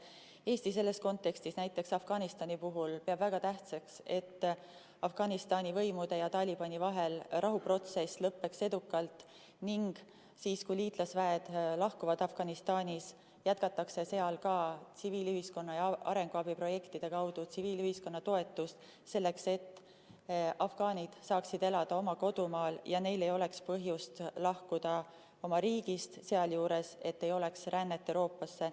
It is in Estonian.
Eesti selles kontekstis peab näiteks Afganistani puhul väga tähtsaks, et Afganistani võimude ja Talibani vahel lõppeb rahuprotsess edukalt ning siis, kui liitlasväed Afganistanist lahkuvad, jätkatakse seal ka tsiviilühiskonna arenguabiprojektide kaudu tsiviilühiskonna toetust selleks, et afgaanid saaksid elada oma kodumaal ja neil ei oleks põhjust lahkuda oma riigist, et sealjuures ei oleks ka rännet Euroopasse.